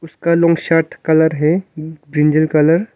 का लूंग साथ कलर है इंजन कलर --